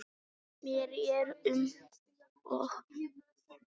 Mér er um og ó.